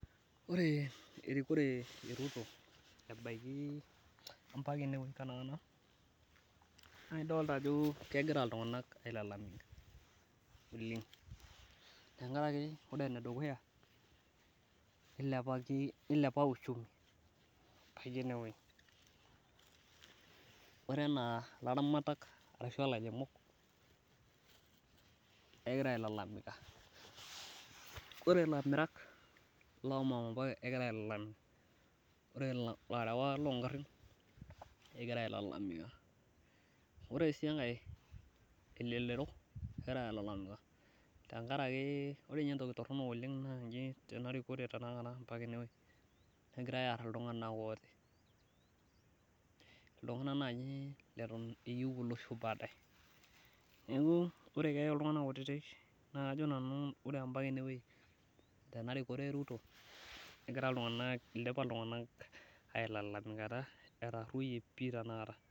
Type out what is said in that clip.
Ore erikore e Ruto ebaiye empaka ene taata, naa idolita ajo kegira ltunganak ailalamika oleng, tengaraki ore ne dukuya, neilepaki, neiliepa uchumi kitii eneweji, ore anaa laramatak ashu lairemok naa egira ailalamika. Kore lamirak lo momboyo egira ailalamika, ore larawak loo ingarrin egira ailalamika, ore sii enkae elelero egira ailalamika, tengaraki ore ninye entoki torono oleng naa inji tena rikore e tenakata negirai aar ltunganak kutiti, ltungana naaji leton eyeu elosho paadaye, naaku ore peyei ltungana kutitik, naa ajo nanu ore empaka eneweji tena rikore e Ruto egira ltunganak, eidipa ltunganak ailalamikanata era oii tenakata.